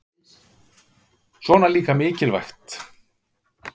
Svona líka mikilvægt